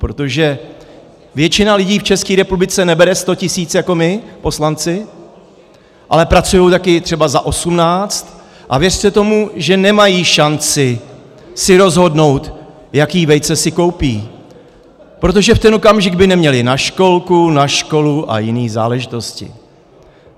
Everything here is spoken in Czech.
Protože většina lidí v České republice nebere 100 tisíc jako my poslanci, ale pracují taky třeba za 18, a věřte tomu, že nemají šanci si rozhodnout, jaká vejce si koupí, protože v ten okamžik by neměli na školku, na školu a jiné záležitosti.